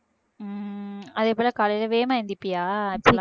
உம் அதே போல காலையிலே வேகமா எழுந்திரிப்பியா